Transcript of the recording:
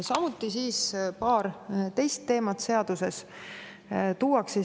Nüüd ka paar teist teemat selles seaduses.